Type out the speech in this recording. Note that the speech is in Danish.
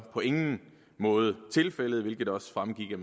på ingen måde tilfældet hvilket også fremgik